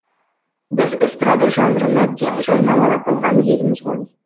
біз эстрада жанрын әбден жарнамалап болған елміз ғой